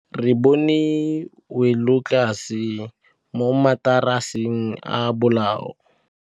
Re bone wêlôtlasê mo mataraseng a bolaô.